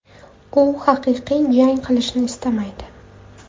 U haqiqiy jang qilishni istamaydi.